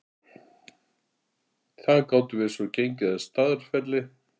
Þaðan gátum við svo gengið að Staðarfelli.